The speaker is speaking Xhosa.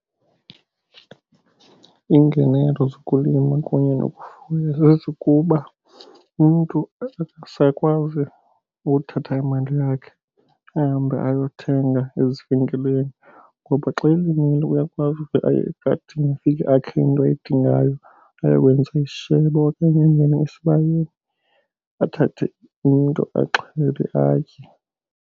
Iingenelo zokulima kunye nokufuya zezokuba umntu akasakwazi ukuthatha imali yakhe ahambe ayothenga ezivenkileni. Ngoba xa elimile uyakwazi ukuve aye egadini afike akhe into ayidingayo ayokwenza isishebo, okanye angene esibayeni athathe umntu axhele atye.